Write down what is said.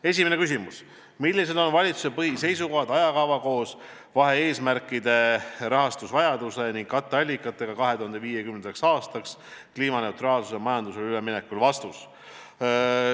Esimene küsimus: "Millised on valitsuse põhiseisukohad, ajakava koos vahe-eesmärkide, rahastusvajaduse ning katteallikatega 2050. aastaks kliimaneutraalsele majandusele üleminekul?